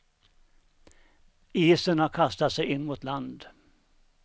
Isen har kastat sig in mot land.